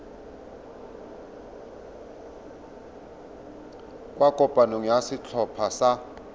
kwa kopanong ya setlhopha sa